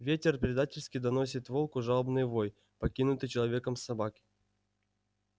ветер предательски доносит волку жалобный вой покинутой человеком собаки